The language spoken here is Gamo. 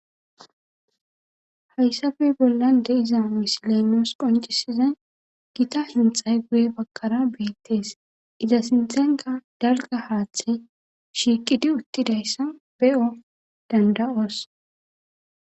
Haysappe bollan de'za misilen nusi qonc'isiza gitta hinxa bagara bettes etta sinththanikka haththi shiqqidi uththidayisa be'o danida'os.